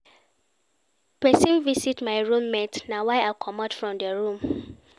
Pesin visit my room mate na why I comot from di room.